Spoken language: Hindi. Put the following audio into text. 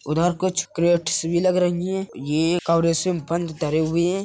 उधर कुछ किरेट्स भी लग रही हैं | ये एक कवरे से में बंद धरे हुए हैं |